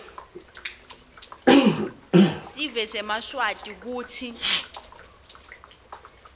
sive semaswati kutsi